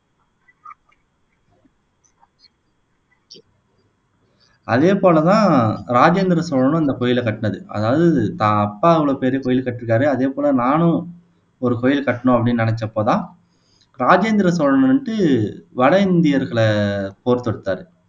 அதே போல தான் ராஜேந்திர சோழனும் இந்த கோயில கட்டினது அதாவது தான் அப்பா இவ்வளவு பெரிய கோயில் கட்டிருக்காரே அதேபோல நானும் ஒரு கோவில் கட்டணும் அப்படீன்னு நினைச்சப்போதான் ராஜேந்திர சோழன் வந்துட்டு வட இந்தியர்களை போர் தொடுத்தாரு